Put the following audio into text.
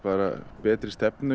betri stefnu